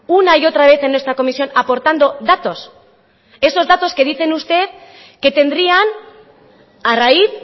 una y otra vez en esta comisión aportando datos esos datos que dicen usted que tendrían a raíz